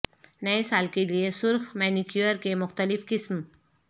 نئے سال کے لئے سرخ مینیکیور کے مختلف قسم